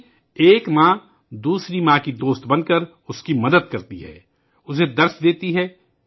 یعنی ایک ماں دوسری ماں کی سہیلی بنتی ہے، اس کی مدد کرتی ہے، اسے سکھاتی ہے